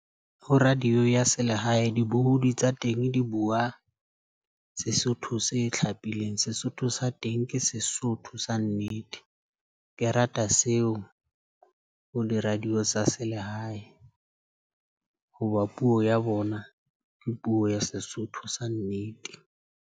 Ho radio ya selehae dibohodi tsa teng di bua Sesotho se tlhabileng Sesotho sa teng ke Sesotho sa nnete. Ke rata seo ho di-radio tsa selehae. Hoba puo ya bona ke puo ya Sesotho sa nnete.